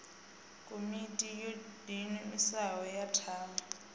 komiti yo diimisaho ya tshavhi